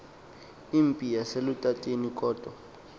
impi yaselutateni kodwa